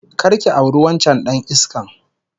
Kar ki auri wancan dan iskan!